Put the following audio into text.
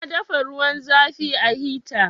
Na dafa ruwan zafin a hita